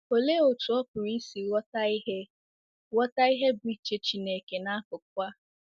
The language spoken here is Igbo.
Olee otú ọ pụrụ isi ghọta ihe ghọta ihe bụ́ uche Chineke n’akụkụ a?